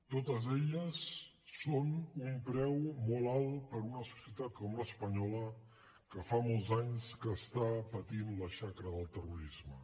totes elles són un preu molt alt per a una societat com l’espanyola que fa molts anys que està patint la xacra del terrorisme